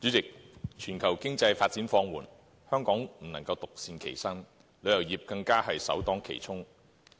代理主席，全球經濟發展放緩，香港不能獨善其身，旅遊業更是首當其衝。